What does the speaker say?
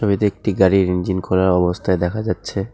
ছবিতে একটি গাড়ির ইঞ্জিন খোলার অবস্থায় দেখা যাচ্ছে।